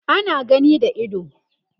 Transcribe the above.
ana gani da ido